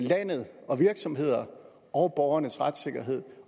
landet og virksomheder og borgernes retssikkerhed